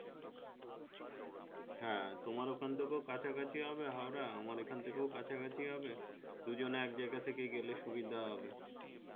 হ্যাঁ তোমার এখন থেকে ও কাছাকাছি হবে হাওড়া আমার এখান থেকেও কাছাকাছি হবে দুজনে এক জায়গা থেকে গেলে সুবিধা হবে